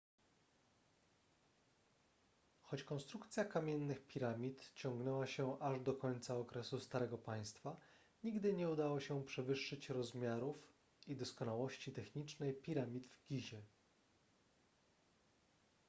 choć konstrukcja kamiennych piramid ciągnęła się aż do końca okresu starego państwa nigdy nie udało się przewyższyć rozmiarów i doskonałości technicznej piramid w gizie